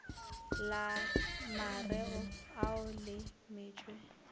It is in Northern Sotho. la mareo ao le metšwe